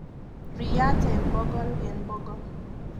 Riryat eng bokol eng bokol.